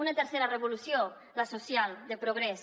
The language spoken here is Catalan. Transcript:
una tercera revolució la social de progrés